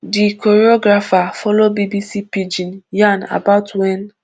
di choreographer follow bbc pidgin yan about wen